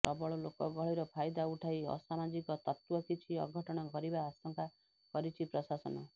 ପ୍ରବଳ ଲୋକ ଗହଳିର ଫାଇଦା ଉଠାଇ ଅସମାଜିକ ତତ୍ୱ କିଛି ଅଘଟଣ କରିବା ଆଶଙ୍କା କରିଛି ପ୍ରଶାସନ